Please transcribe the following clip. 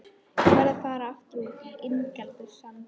Ég verð að fara aftur út á Ingjaldssand.